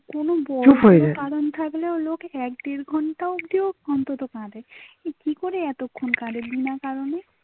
কোনো বড়ো চুপ হয়ে জায়ে, কারণ থাকলে ওলোক এক ডের ঘণ্টাও